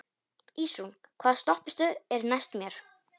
Ísrún, hvaða stoppistöð er næst mér?